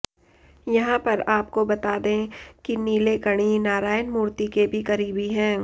यहां पर आपको बता दें कि नीलेकणी नारायण मूर्ति के भी करीबी हैं